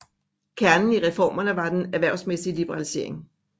Kernen i reformerne var den erhvervsmæssige liberalisering